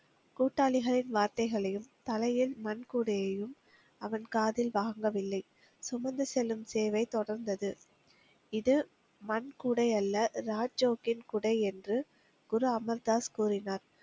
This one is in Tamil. கூட்டாளிகளின் வார்த்தைகளையும், தலையில் மண் கூடையையும் அவன் காதில் வாங்கவில்லை. சுமந்து செல்லும் சேவை தொடர்ந்தது. இது மண் கூடை அல்ல ராஜோக்கின் குடை என்று குரு அமிர் தாஸ் கூறினார்.